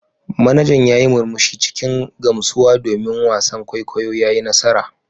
Manajan ya yi murmushi cikin gamsuwa domin wasan kwaikwayo ya yi nasara.